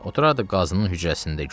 Oturardı qazısının hücrəsində.